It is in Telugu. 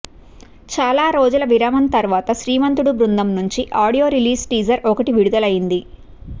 చాలా రోజుల విరామం తరువాత శ్రీమంతుడు బృందం నుండి ఆడియో రిలీజ్ టీజర్ ఒకటి విడుదలయ్యింది